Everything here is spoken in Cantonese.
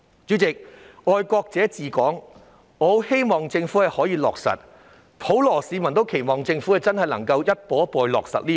主席，我希望政府可以落實"愛國者治港"，普羅市民也期望政府能夠真的逐步落實這項原則。